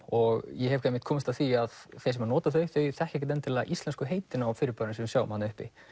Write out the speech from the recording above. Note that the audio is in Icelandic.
og ég hef komist að því að þeir sem nota þau þekkja ekkert endilega íslensku heitin á fyrirbærunum sem við sjáum þarna uppi